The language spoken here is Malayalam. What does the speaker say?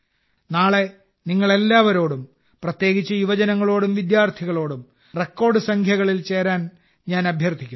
നാളെ നിങ്ങളെല്ലാവരോടും പ്രത്യേകിച്ച് യുവജനങ്ങളോടും വിദ്യാർത്ഥികളോടും റെക്കോർഡ് സംഖ്യകളിൽ ചേരാൻ ഞാൻ അഭ്യർത്ഥിക്കുന്നു